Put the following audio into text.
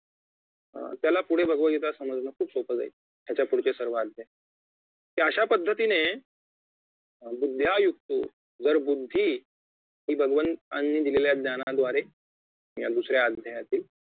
त्याला पुढे भगवतगीता समजणं खूप सोपं जाईल याच्या पुढचे सर्व अध्याय कि अशापद्धतीने बुद्धया युक्तो तर बुद्धी हि भगवंतांनी दिलेल्या ज्ञानाद्वारे या दुसऱ्या अध्यायातील